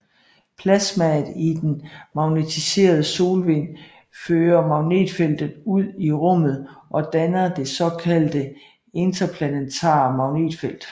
Plasmaet i den magnetiserede solvind fører magnetfeltet ud i rummet og danner det såkaldte interplanetare magnetfelt